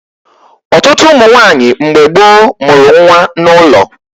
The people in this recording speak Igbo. Ọtụtụ ụmụ nwaanyị mgbe gboo mụrụ nwa n'ụlọ